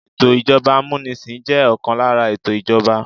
Ètò ìjọba amunisin jẹ́ ọ̀kan lára ètò ìjọba.